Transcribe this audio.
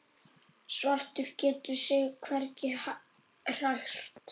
Svartur getur sig hvergi hrært.